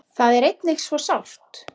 Það er einnig svo sárt.